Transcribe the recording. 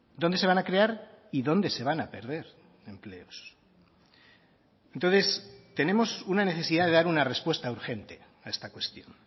dónde se van a crear y dónde se van a perder empleos entonces tenemos una necesidad de dar una respuesta urgente a esta cuestión